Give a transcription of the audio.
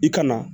I ka na